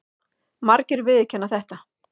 Margir viðurkenna þetta.